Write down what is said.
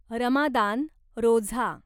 Ramadan, Roza